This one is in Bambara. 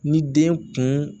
Ni den kun